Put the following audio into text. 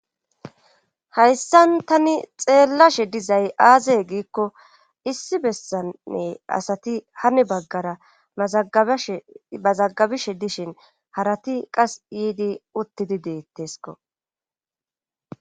hayssan tani xeellashe dizay aaze giikko issi bessanne asati hani baggara mazagabishe dishin harati qas yiidi uttidi deettesko.